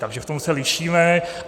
Takže v tom se lišíme.